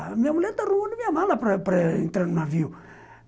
Minha mulher está arrumando minha mala para entrar no navio.